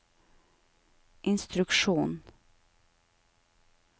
instruksjon